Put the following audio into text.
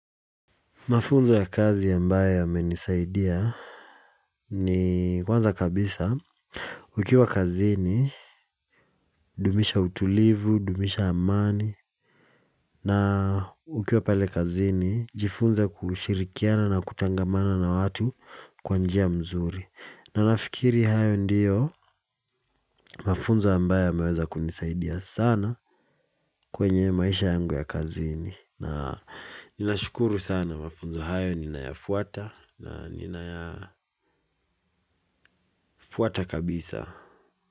Mafunzo ya kazi ambae yamenisaidia ni kwanza kabisa ukiwa kazini dumisha utulivu, dumisha amani na ukiwa pale kazini jifunze kushirikiana na kutangamana na watu kwa njia mzuri. Na nafikiri hayo ndiyo mafunzo ambae yameweza kunisaidia sana kwenye maisha yangu ya kazini. Na nina shukuru sana mafunzo hayo nina yafuata. Na nina yafuata kabisa.